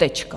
Tečka.